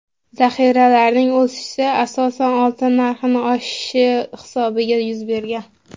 Zaxiralarning o‘sishi asosan oltin narxining oshishi hisobiga yuz bergan.